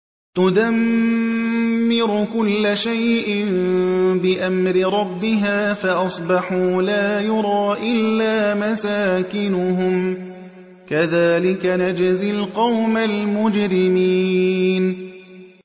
تُدَمِّرُ كُلَّ شَيْءٍ بِأَمْرِ رَبِّهَا فَأَصْبَحُوا لَا يُرَىٰ إِلَّا مَسَاكِنُهُمْ ۚ كَذَٰلِكَ نَجْزِي الْقَوْمَ الْمُجْرِمِينَ